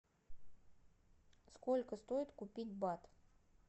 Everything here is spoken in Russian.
сколько стоит купить бат